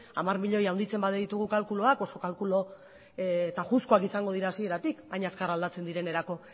hamar milioi handitzen baditugu kalkuloak oso kalkulo tajuzkoak izango dira hasieratik baina azkar aldatzen direnerako